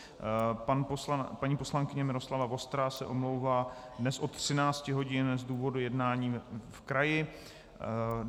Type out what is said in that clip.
Paní poslankyně Miroslava Vostrá se omlouvá dnes od 13 hodin z důvodu jednání v kraji.